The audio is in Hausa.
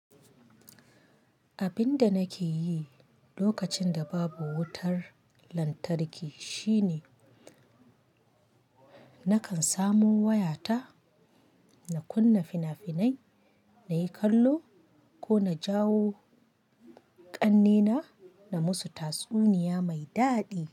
Abin da nake yi lokacin da babu wutar lantarki shine nakan samo waya ta, na kunna fina-finai, na yi kallo ko na jawo ƙannena na musu tatsuniya mai daɗi.